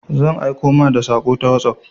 Zan aiko ma da saƙo ta wosof.